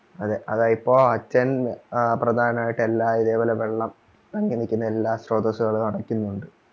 അതെ അതാ ഇപ്പോ അച്ഛൻ പ്രധാനായിട്ട് എല്ലാ ഇതേപോലെ വെള്ളം തങ്ങി നിക്കുന്നെ എല്ലാ സ്ത്രോസ്സുകളും അടയ്ക്കുന്നുണ്ട്